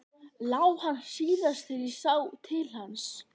LÁ HANN SÍÐAST ÞEGAR ÉG SÁ TIL HANS.